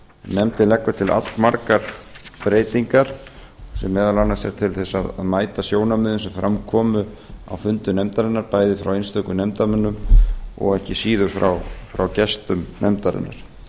nefndin leggur til allmargar breytingar sem meðal annars voru til að mæta sjónarmiðum sem fram komu á fundi nefndarinnar bæði frá einstökum nefndarmönnum og ekki síður frá gestum nefndarinnar